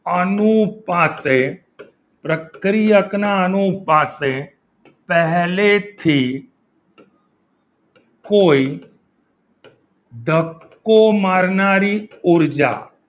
અનુપાતે પ્રક્રિયક ના અનુભાગે પહેલેથ કોઈ ધક્કો મારનારી ઉર્જા